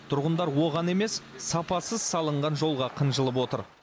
тұрғындар оған емес сапасыз салынған жолға қынжылып отыр